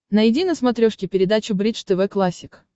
найди на смотрешке передачу бридж тв классик